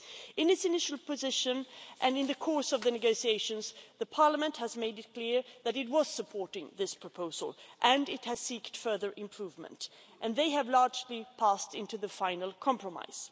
In its initial position and in the course of the negotiations, Parliament has made it clear that it was supporting this proposal and it has sought further improvement, and they have largely passed into the final compromise.